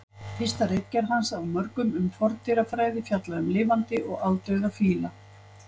Fyrsta ritgerð hans af mörgum um forndýrafræði fjallaði um lifandi og aldauða fíla.